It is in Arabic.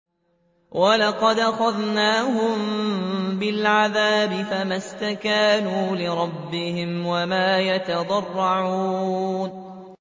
وَلَقَدْ أَخَذْنَاهُم بِالْعَذَابِ فَمَا اسْتَكَانُوا لِرَبِّهِمْ وَمَا يَتَضَرَّعُونَ